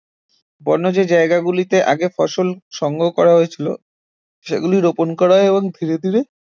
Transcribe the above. বন্য যেই জায়গাগুলিতে আগে ফসল সংগ্রহ করা হয়েছিল সেগুলি রোপন করা এবং ধীরে ধীরে